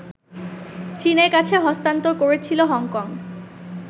চীনের কাছে হস্তান্তর করেছিল হংকং